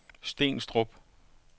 Stenstrup